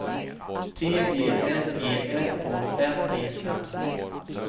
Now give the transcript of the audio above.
T E L E F O N E N